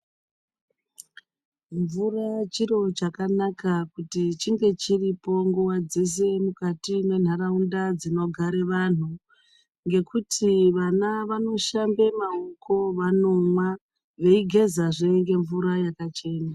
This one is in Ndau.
Mvura chiro chakanaka kuti chinge chiripo nguwa dzeshe kuti chinge chiripo mukati mwenharaunda dzinogara vanhu. Ngekuti vana vanoshamba maoko vanomwa veigeza zvee nemvura yakachena.